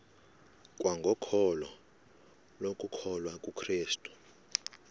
kwangokholo lokukholwa kukrestu